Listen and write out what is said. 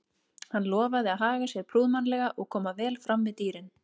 Hann lofaði að haga sér prúðmannlega og koma vel fram við dýrin.